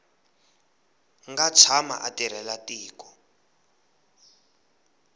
nga tshama a tirhela tiko